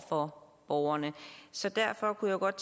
for borgerne så derfor kunne jeg godt